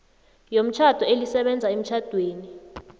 yomtjhado elisebenza emtjhadweni